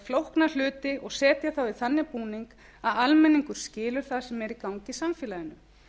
flókna hluti og setja þá í þannig búning að almenningur skilji það sem er í gangi í samfélaginu